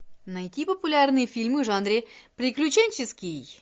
найти популярные фильмы в жанре приключенческий